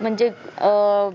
म्हणजे अह